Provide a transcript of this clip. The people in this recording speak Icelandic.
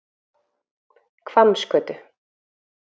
Hvammsgötu